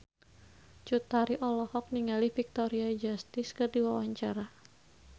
Cut Tari olohok ningali Victoria Justice keur diwawancara